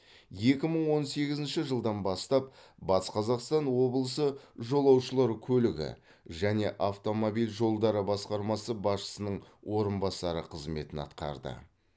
екі мың он сегізінші жылдан бастап батыс қазақстан облысы жолаушылар көлігі және автомобиль жолдары басқармасы басшысының орынбасары қызметін атқарды